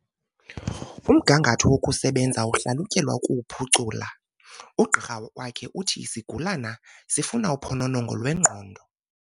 Umgangatho wokusebenza uhlalutyelwa ukuwuphucula. ugqirha wakhe uthi isigulana sifuna uphononongo lwengqondo